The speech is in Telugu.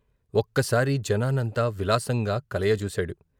ఒక్కసారి జనా న్నంతా విలాసంగా కలయజూశాడు.